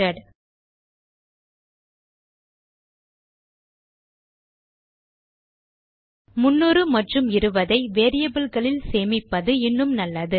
300 மற்றும் 20 ஐ வேரியபிள் களில் சேமிப்பது இன்னும் நல்லது